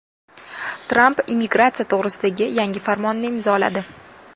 Tramp immigratsiya to‘g‘risidagi yangi farmonni imzoladi.